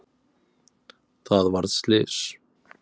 Það varð slys.